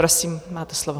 Prosím, máte slovo.